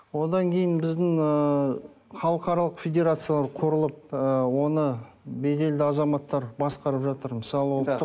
одан кейін біздің ыыы халықаралық федерация құрылып ыыы оны беделді азаматтар басқарып жатыр мысалы